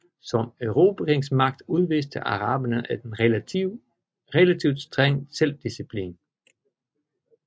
Som erobringsmagt udviste araberne en relativt streng selvdisciplin